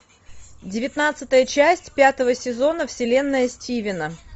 девятнадцатая часть пятого сезона вселенная стивена